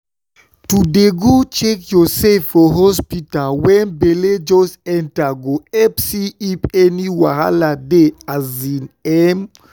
to dey go check yoursef for hospta wen belle just enta go epp see if any wahal dey asin emm